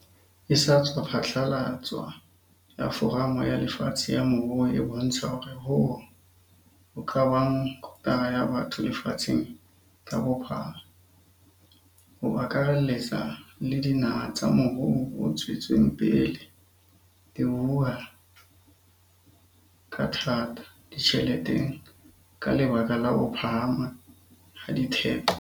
e sa tswa phatlalatswa ya Foramo ya Lefatshe ya Moruo e bontsha hore hoo ka bang kotara ya batho lefatsheng ka bophara, ho akarelletsa le dinaha tsa morou o tswetseng pele, di hula ka thata ditjheleteng ka lebaka la ho phahama ha ditheko.